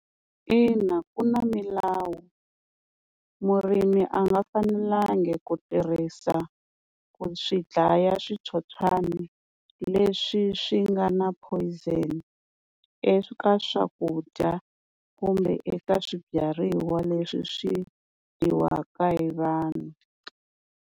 Ina ku na milawu, murimi a nga fanelangi ku tirhisa ku swi dlaya switsotswani leswi swi nga na poison, eka swakudya kumbe eka swibyariwa leswi swi dyiwaka hi vanhu.